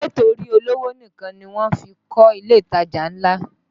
Ṣé torí olówó nìkan ni wọ́n fí ń kọ ilé ìtajà ńlá?